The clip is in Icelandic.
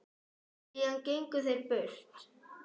Síðan gengu þeir burt.